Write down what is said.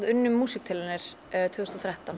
unnum músíktilraunir tvö þúsund og þrettán